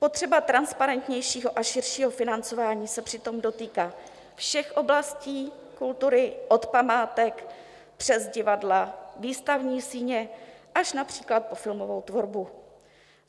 Potřeba transparentnějšího a širšího financování se přitom dotýká všech oblastí kultury, od památek přes divadla, výstavní síně až například po filmovou tvorbu.